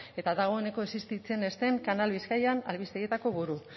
eta dagoeneko existitzen ez den canal bizkaian albistegietako buru